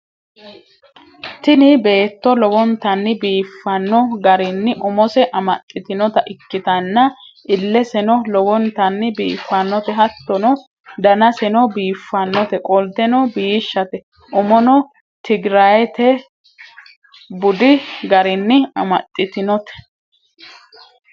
tini beetto lowntanni biifanno garinni umose amaxxitinota ikkitanna, illeseno lowontanni biiffannote hattono, danaseno biiffannote qolteno biishshate, umono tigiraayetebudi garinni amaxxitinote.